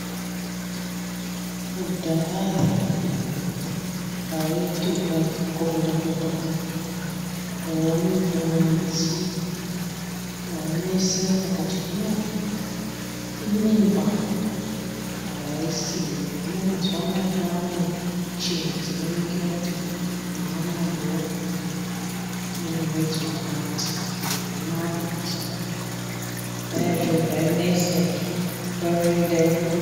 Kudhaya waiti ukakorera kuenda kumwedzi waineseka kuti hino imimba haisiyo hino mazuwa anaya kwaane muchini dzinoningira kuti waanayo ine mwedzi wakati zviro zvanaka mazuwa anaya kudhaya zviro zvainesa izvi nguwa imweni dai inenge....